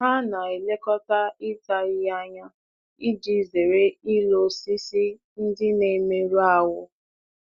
Ha na-elekọta ịta ahịhịa anya iji zere ilo osisi ndị na-emerụ ahụ.